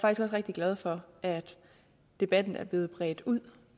også rigtig glad for at debatten er blevet bredt ud